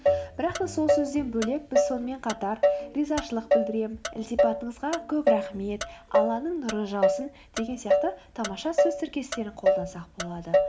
бірақ та сол сөзден бөлек біз сонымен қатар ризашылық білдіремін ілтипатыңызға көп рахмет алланың нұры жаусын деген сияқты тамаша сөз тіркестерін қолдансақ болады